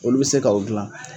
Olu bɛ se ka o gilan.